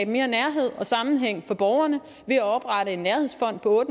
mere nærhed og sammenhæng for borgerne ved at oprette en nærhedsfond på